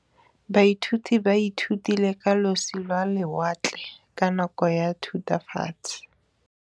Baithuti ba ithutile ka losi lwa lewatle ka nako ya Thutafatshe.